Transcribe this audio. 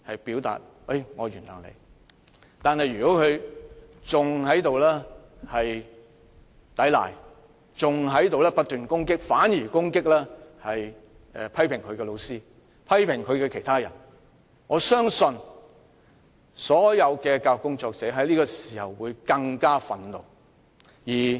不過，如果他抵賴，更反而不斷攻擊批評他的老師，批評他的人，我相信所有教育工作者只會更感憤怒。